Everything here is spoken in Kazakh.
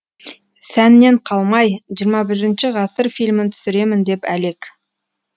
сәннен қалмай ххі ғасыр фильмін түсіремін деп әлек